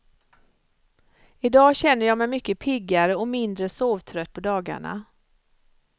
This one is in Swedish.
Idag känner jag mig mycket piggare och mindre sovtrött på dagarna.